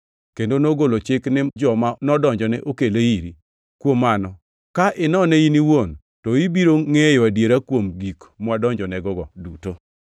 kendo nogolo chik ni joma nodonjone okele iri]. + 24:8 Loko moko machon mag Muma onge gi giko mar \+xt Joo 24:6\+xt* kaachiel gi \+xt Joo 24:7\+xt* duto kod chakruok mar \+xt Joo 24:8\+xt*. Kuom mano, ka inone in iwuon, to ibiro ingʼeyo adiera kuom gik mwadonjonego duto.”